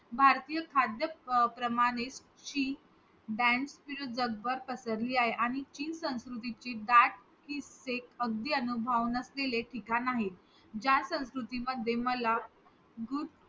तेव्हा असं वाटलं की भाई एवढा एकदम hard climb एवढा कठीण चढाई करून इथपर्यंत येतोय ते काहीतरी achievement वाटते तिकडे गेल्यावर.